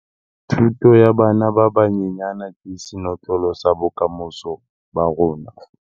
Thuto ya bana ba banyenyane ke senotlolo sa bokamoso ba rona.